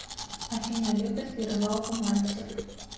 афина любит ли рыбалку мальцев